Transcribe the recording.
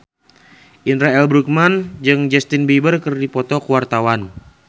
Indra L. Bruggman jeung Justin Beiber keur dipoto ku wartawan